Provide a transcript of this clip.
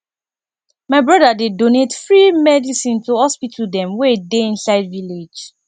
my broda dey donate free medicine to hospital dem wey dey inside village